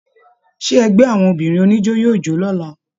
Ṣe ẹgbẹ àwọn obìnrin oníjó yóò jo l'ọla?.